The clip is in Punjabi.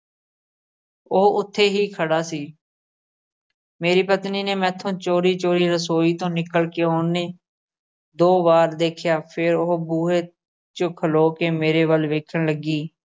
ਉਹ ਉਥੇ ਹੀ ਖੜ੍ਹਾ ਸੀ, ਮੇਰੀ ਪਤਨੀ ਨੇ ਮੈਥੋ ਚੋਰੀ-ਚੋਰੀ ਰਸੋਈ ਤੋਂ ਨਿਕਲ ਕੇ ਉਹਨੇ ਦੋ ਵਾਰ ਦੇਖਿਆ। ਫਿਰ ਉਹੋ ਬੂਹੇ ਵਿੱਚ ਖਲੋਕੇ ਮੇਰੇ ਵੱਲ ਵੇਖਣ ਲੱਗੀ।